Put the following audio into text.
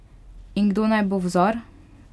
In kdo naj bo vzor?